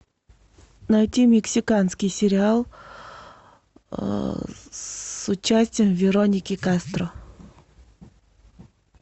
найти мексиканский сериал с участием вероники кастро